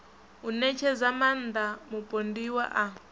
u ṋetshedza maaṋda mupondiwa a